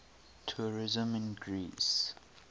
tourism in greece